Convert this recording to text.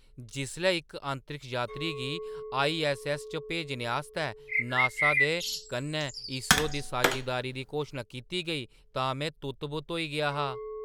जिसलै इक अंतरिक्ष यात्री गी आईऐस्सऐस्स पर भेजने आस्तै नासा दे कन्नै ईसरो दी सांझेदारी दी घोशना कीती गेई तां में तुत्त-बुत्त होई गेआ हा!